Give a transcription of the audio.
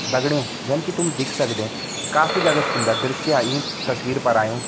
दगड़ियों जन की तुम दिख सकदें काफी ज्यादा सुन्दर दृश्य ईं तस्वीर पर आयूँ।